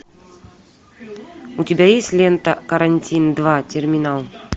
у тебя есть лента карантин два терминал